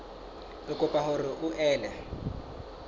re kopa hore o ele